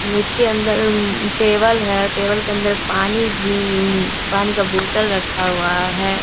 हूं इसके अंदर हुं टेबल है। टेबल के अंदर पानी भी हुं पानी का बोतल रखा हुआ है।